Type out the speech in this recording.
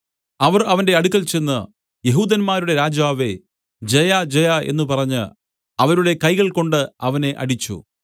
അവർ അവന്റെ അടുക്കൽ ചെന്ന് യെഹൂദന്മാരുടെ രാജാവേ ജയജയ എന്നു പറഞ്ഞ് അവരുടെ കൈകൾകൊണ്ട് അവനെ അടിച്ചു